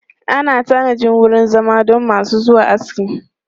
Ana tanajin wurin zama don masu zuwa aski.